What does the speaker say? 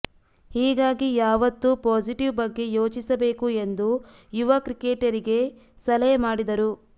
ಹೀಗಾಗಿ ಂುುಾವತ್ತೂ ಪಾಸಿಟಿವ್ ಬಗ್ಗೆ ಂುೋಚಿಸಬೇಕು ಎಂದು ಂುುುವ ಕ್ರಿಕೆಟಿಗರಿಗೆ ಸಲಹೆ ಮಾಡಿದರು